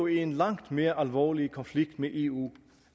i en langt mere alvorlig konflikt med eu